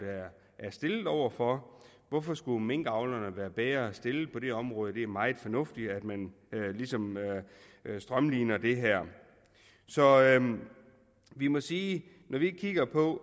er stillet over for hvorfor skulle minkavlerne være bedre stillet på det område det er meget fornuftigt at man ligesom strømliner det her så vi må sige